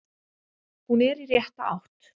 Hún er í rétta átt.